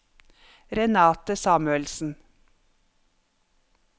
Renate Samuelsen